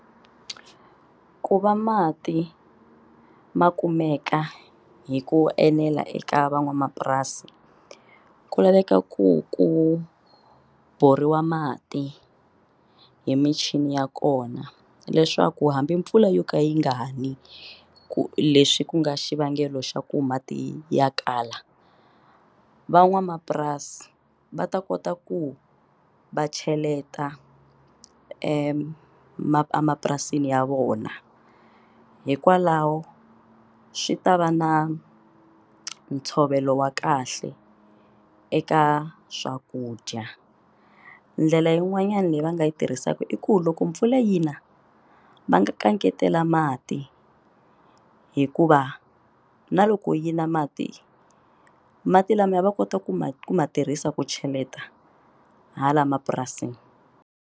Ku va mati makumeka hi ku enela eka van'wamapurasi ku laveka ku ku borhiwa mati hi michini ya kona leswaku hambi mpfula yo ka yi ngani ku lexi ku nga xivangelo xa ku mati ya kala van'wamapurasi va ta kota ku va cheleta emapurasini ya vona hikwalaho swi ta va na ntshovelo wa kahle eka swakudya ndlela yin'wanyana leyi va nga yi tirhisaka i ku loko mpfula yi na va nga kangetela mati hikuva na loko yi na mati mati lamaya va kota ku ma ku ma tirhisa ku cheleta hala mapurasini.